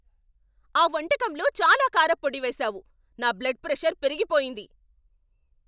ఆ వంటకంలో చాలా కారప్పొడి వేశావు, నా బ్లడ్ ప్రెషర్ పెరిగిపోయింది.